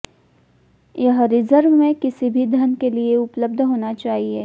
यह रिजर्व में किसी भी धन के लिए उपलब्ध होना चाहिए